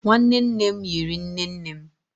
nwanne nne m yiri nne nne m.